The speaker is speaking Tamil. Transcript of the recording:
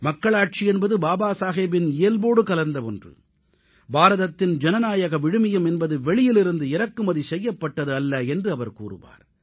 மக்களாட்சி என்பது பாபா சாஹேபின் இயல்போடு கலந்த ஒன்று பாரதத்தின் ஜனநாயக விழுமியம் என்பது வெளியிலிருந்து இறக்குமதி செய்யப்பட்டது அல்ல என்று அவர் கூறுவார்